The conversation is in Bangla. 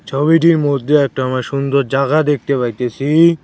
ছবিটির মধ্যে একটা আমরা সুন্দর জাগা দেখতে পাইতেসি।